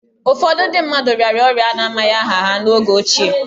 Ụfọdụ ndị mmadụ rịara orịa a na-amaghị aha ha n'oge ochie